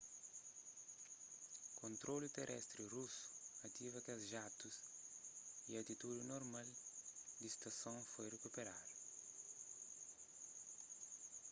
kontrolu terestri rusu ativa kes jatus y atitudi normal di stason foi rikuperadu